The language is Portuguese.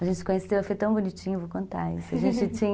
A gente se conheceu, foi tão bonitinho, vou contar